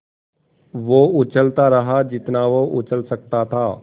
वो उछलता रहा जितना वो उछल सकता था